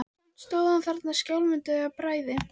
Samt stóð hann þarna skjálfandi af bræði.